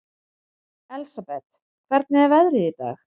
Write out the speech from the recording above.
Elsabet, hvernig er veðrið í dag?